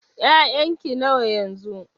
ya'yan ki nawa yanzu?